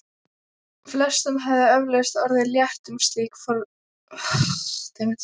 Flestum hefði eflaust orðið létt um slík formsatriði.